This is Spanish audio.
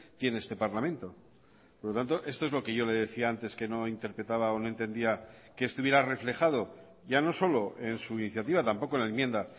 tiene este parlamento por lo tanto esto es lo que yo le decía antes que no interpretaba o no entendía que estuviera reflejado ya no solo en su iniciativa tampoco en la enmienda